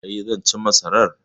E, zan ci masarar.